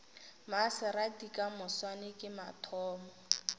maserati ka moswane ke mathomo